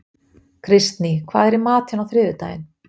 Kristný, hvað er í matinn á þriðjudaginn?